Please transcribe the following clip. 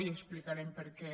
i explicarem per què